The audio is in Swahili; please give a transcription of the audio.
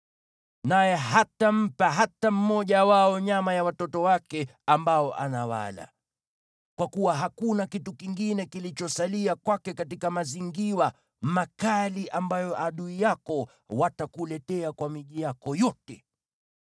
naye hatampa hata mmoja wao nyama ya watoto wake ambao anawala. Kwa kuwa hakuna kitu kingine kilichosalia kwake katika mazingirwa makali ambayo adui yako watakuletea kwa miji yako yote.